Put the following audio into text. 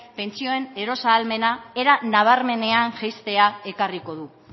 pentsioen eros ahalmena era nabarmenean jaistea ekarriko du